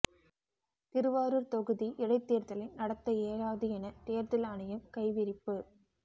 திருவாரூர் தொகுதி இடைத்தேர்தலை நடத்த இயலாது என தேர்தல் ஆணையம் கைவிரிப்பு